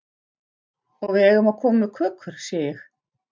Og við eigum að koma með kökur, sé ég.